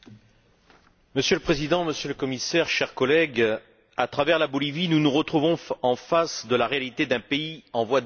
Monsieur le Président, Monsieur le Commissaire, chers collègues, à travers la Bolivie, nous nous retrouvons en face de la réalité d'un pays en voie de développement.